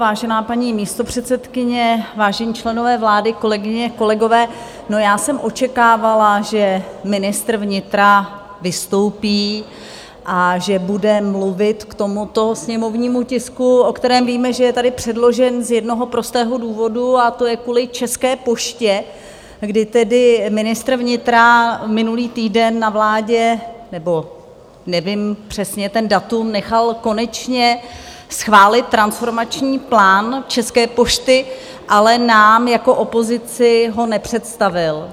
Vážená paní místopředsedkyně, vážení členové vlády, kolegyně, kolegové, já jsem očekávala, že ministr vnitra vystoupí a že bude mluvit k tomuto sněmovnímu tisku, o kterém víme, že je sem předložen z jednoho prostého důvodu, a to je kvůli České poště, kdy tedy ministr vnitra minulý týden na vládě, nebo nevím přesně to datum, nechal konečně schválit transformační plán České pošty, ale nám jako opozici ho nepředstavil.